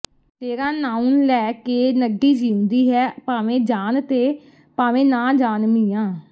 ਤੇਰਾ ਨਾਂਉਂ ਲੈ ਕੇ ਨੱਢੀ ਜਿਉਂਦੀ ਹੈ ਭਾਵੇਂ ਜਾਣ ਤੇ ਭਾਵੇਂ ਨਾ ਜਾਣ ਮੀਆਂ